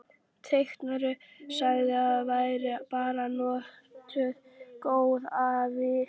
Teitur sagði að væri bara nokkuð góð af viðvaningi